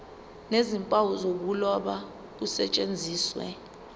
nezimpawu zokuloba kusetshenziswe